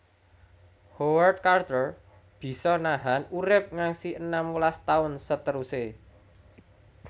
Howard Carter bisa nahan urip ngasi enam welas taun seteruse